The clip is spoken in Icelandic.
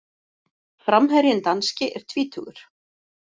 Framherjinn danski er tvítugur.